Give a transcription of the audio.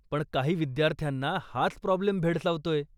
पण काही विद्यार्थ्यांना हाच प्राॅब्लेम भेडसावतोय.